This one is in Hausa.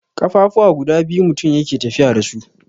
ƙafafuwa guda biyu mutum yake tafiya da su.